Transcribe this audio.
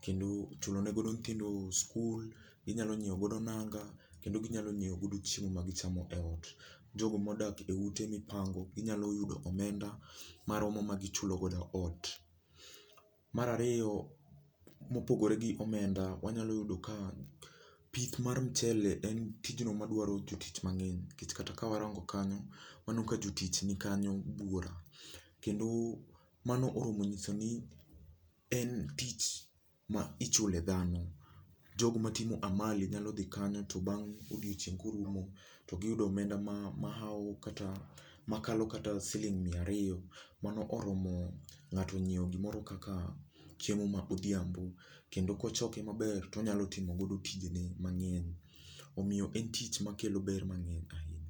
kendo chulo ne godo nyithindo skul, ginyalo nyiew godo nanga kendo ginyalo nyiew godo chiemo ma gichamo e ot. Jogo modak e ute mipango, ginyalo yudo omenda maromo ma gichulo godo ot. Mar ariyo, mopogore gi omenda, wanyalo yudo ka, pith mar mchele en tijno madwaro jotich mang'eny nikech kata kawarango kanyo, waneno ka jotich ni kanyo buora. Kendo, mano oromo nyiso ni en tich ma ichule dhano. Jogo matimo amali nyalo dhi kanyo to bang' odiochieng' korumo, to giyudo omenda ma mahaw kata makalo kata siling' miya ariyo, mano oromo ng'ato nyiew gimoro kaka, chiemo a odhiambo, kendo kochoke maber tonyalo timo godo tijene mang'eny. Omiyo en tich makelo ber mang'eny ahinya